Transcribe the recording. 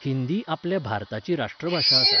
हिंदी आपल्या भारताची राष्ट्रभाशा आसा.